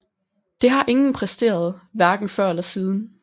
Det har ingen præsteret hverken før eller siden